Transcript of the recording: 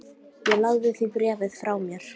Ég lagði því bréfið frá mér.